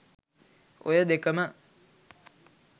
ඔය දෙකම